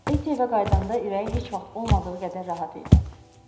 Eti evə qayıdanda ürəyi heç vaxt olmadığı qədər rahat idi.